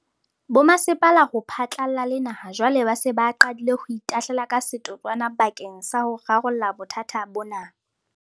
Bomasepala ho phatlalla le naha jwale ba se ba qadile ho itahlela ka setotswana bakeng sa ho rarolla bothata bona.